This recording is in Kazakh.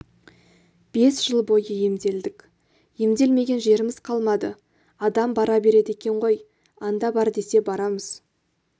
бес жыл бойы емделдік емделмеген жеріміз қалмады адам бара береді екен ғой анда бар десе барамыз